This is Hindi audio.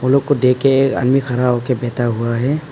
लोगों को देखके आदमी खड़ा होके बैठा हुआ है।